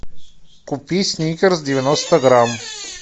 купи сникерс девяносто грамм